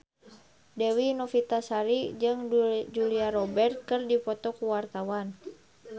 Dewi Novitasari jeung Julia Robert keur dipoto ku wartawan